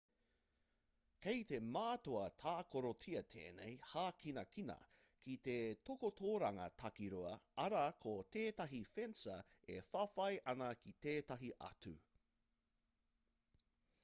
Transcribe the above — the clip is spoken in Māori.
kei te mātua tākarotia tēnei hākinakina ki te takotoranga takirua arā ko tētahi fencer e whawhai ana ki tētahi atu